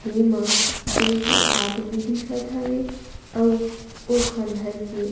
एमा दो झन आदमी दिखत हवे अउ ए खंडहर के--